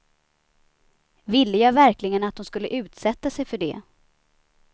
Ville jag verkligen att hon skulle utsätta sig för det?